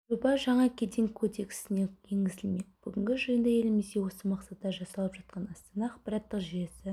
жоба жаңа кеден кодексіне енгізілмек бүгінгі жиында елімізде осы мақсатта жасалып жатқан астана ақпараттық жүйесі